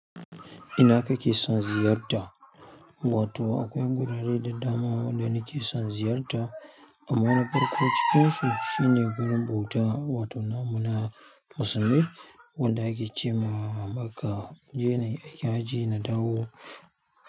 Ina kake son ziyarta? Wato akwai wurare da dama wanda nake son ziyarta. Amma na farko cikinsu shine wurin bauta, wato muna musulmi. Wanda ake ce ma Makkah in je nayi aikin hajji na dawo.